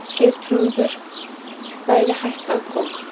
Geirþrúður væri hætt að koma.